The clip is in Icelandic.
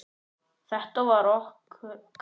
Þetta var okkar.